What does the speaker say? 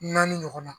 Naani ɲɔgɔnna